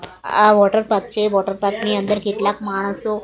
આ વોટરપાર્ક છે વોટરપાર્ક ની અંદર કેટલાક માણસો--